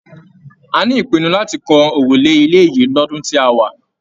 A ní ìpinnu láti kàn òrùlé ilé yìí l'ọdun tí a wá.